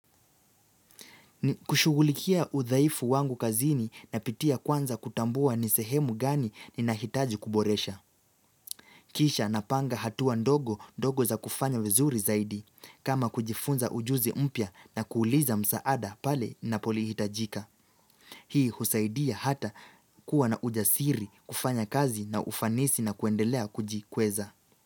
Kushughulikia udhaifu wangu kazini napitia kwanza kutambua nisehemu gani ninahitaji kuboresha. Kisha napanga hatua ndogo ndogo za kufanya vizuri zaidi. Kama kujifunza ujuzi mpya na kuuliza msaada pale napolihitajika. Hii husaidia hata kuwa na ujasiri kufanya kazi na ufanisi na kuendelea kujikweza.